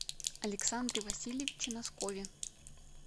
александре васильевиче носкове